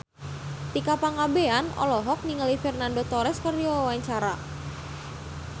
Tika Pangabean olohok ningali Fernando Torres keur diwawancara